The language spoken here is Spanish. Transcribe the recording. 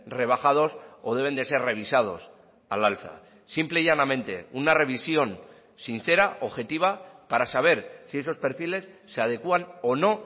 rebajados o deben de ser revisados al alza simple y llanamente una revisión sincera objetiva para saber si esos perfiles se adecúan o no